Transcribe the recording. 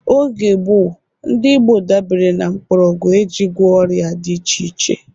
Oge gbọo, ndị Igbo dabere na mkpọrọgwụ e ji gwo ọrịa dị iche iche